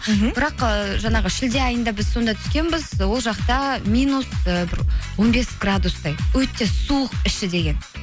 мхм бірақ ыыы жаңағы шілде айында біз сонда түскенбіз ол жақта минус ы бір он бес градустай өте суық іші деген